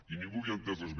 i ningú havia entès res més